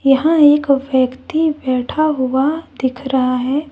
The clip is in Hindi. यहां एक व्यक्ति बैठा हुआ दिख रहा है।